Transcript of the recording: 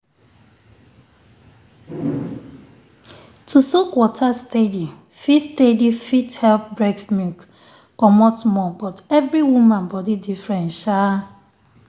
to soak water steady fit steady fit help breast milk comot more but every woman body different sha.